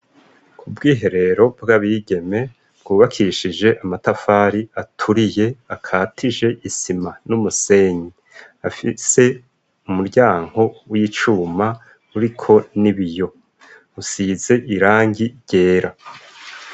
Ku bwiherero bw'abigeme bwubakishije amatafari aturiye akatije isima n'umusenyi afise umuryanko w'icuma uri ko ni biyo usize irangi ryera.